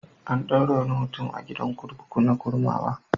An ɗaure wani mutum a gidan kurkuku na Kurmawa.